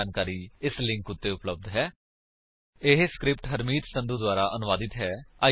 spoken hyphen tutorial dot org slash NMEICT hyphen intro ਇਹ script Harmeet Sandhu ਦੁਆਰਾ ਅਨੁਵਾਦਿਤ ਹੈ